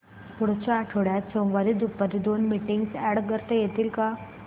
पुढच्या आठवड्यात सोमवारी दुपारी दोन मीटिंग्स अॅड करता येतील का